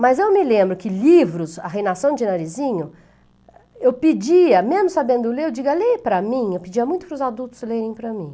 Mas eu me lembro que livros, a Reinação de Narizinho, eu pedia, mesmo sabendo ler, eu digo, leia para mim? pedia muito para os adultos lerem para mim.